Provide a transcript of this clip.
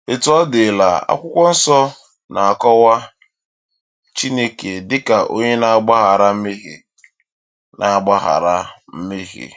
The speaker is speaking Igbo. Etu ọ dịla, Akwụkwọ Nsọ na-akọwa Chineke dị ka Onye na-agbaghara mmehie. na-agbaghara mmehie.